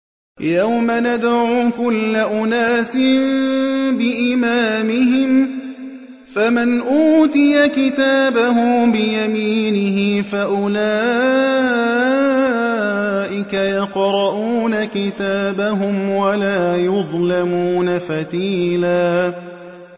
يَوْمَ نَدْعُو كُلَّ أُنَاسٍ بِإِمَامِهِمْ ۖ فَمَنْ أُوتِيَ كِتَابَهُ بِيَمِينِهِ فَأُولَٰئِكَ يَقْرَءُونَ كِتَابَهُمْ وَلَا يُظْلَمُونَ فَتِيلًا